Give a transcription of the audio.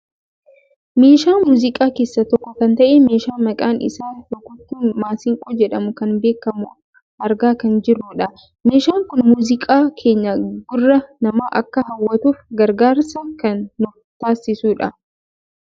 Meeshaa muuziqaa keessaa tokko kan ta'e meeshaa maqaan isaa rukuttuu masiinqoo jedhamu kan beekkamu argaa kan jirrudha. Meeshaan kun muuziqaan keenya gurra namaa akka hawwatuuf gargaarsa kan nuuf taasisu dha.